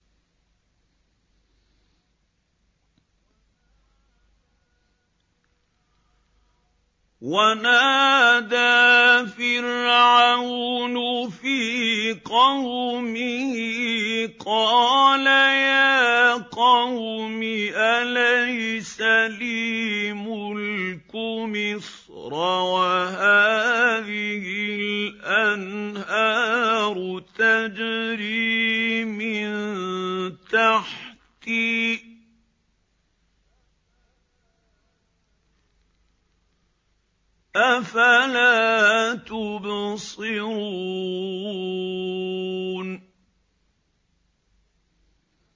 وَنَادَىٰ فِرْعَوْنُ فِي قَوْمِهِ قَالَ يَا قَوْمِ أَلَيْسَ لِي مُلْكُ مِصْرَ وَهَٰذِهِ الْأَنْهَارُ تَجْرِي مِن تَحْتِي ۖ أَفَلَا تُبْصِرُونَ